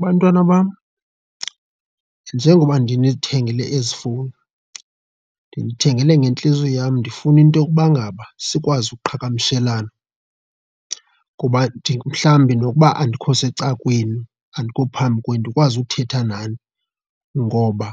Bantwana bam, njengoba ndinithengele ezi fowuni ndinithengele ngentliziyo yam ndifune into yokubangaba sikwazi ukuqhagamshelana kuba mhlawumbi nokuba andikho seca'kwenu, andikho phambi kwenu ndikwazi ukuthetha nani. Ngoba